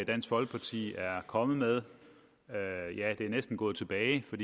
dansk folkeparti er kommet med ja det er næsten gået tilbage for